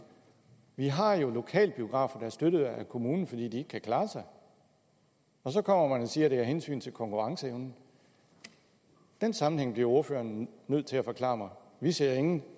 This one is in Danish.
vi har jo lokalbiografer der er støttet af kommunen fordi de ikke kan klare sig og så kommer man og siger at det er af hensyn til konkurrenceevnen den sammenhæng bliver ordføreren nødt til at forklare mig vi ser ingen